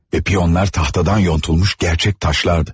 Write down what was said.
Və piyonlar taxtadan yonulmuş gerçək daşlardı.